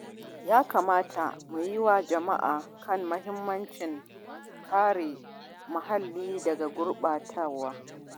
Ya kamata mu yi wa jama’a faɗakarwa kan muhimmancin kare muhalli daga gurbatawa.